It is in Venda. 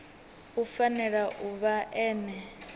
u fanela u vha ene